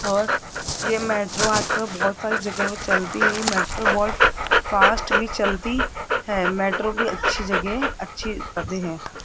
और ये मेट्रो आज कल बहुत सारी जगहों चलती है ये मेट्रो बहुत फास्ट भी चलती है मेट्रो भी अच्छी जगह अच्छी हैं।